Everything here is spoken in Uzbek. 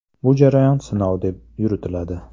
Bu jarayon sinov deb yuritiladi.